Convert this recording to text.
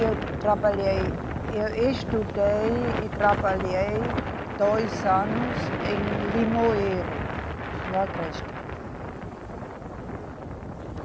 Eu trabalhei, eu estudei e trabalhei dois anos em Limoeiro, no Agreste.